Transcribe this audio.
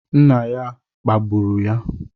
Nna ya kpagburu ya